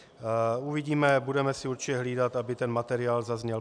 Uvidíme, budeme si určitě hlídat, aby ten materiál zazněl.